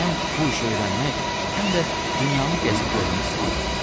Həm bu işi öyrənmək, həm də dünyanı gəzib görmək istəyirəm.